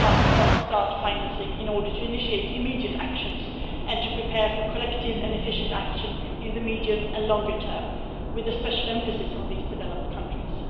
fast start financing in order to initiate immediate actions and to prepare for collective and efficient action in the medium and longer term with a special emphasis on these developed countries.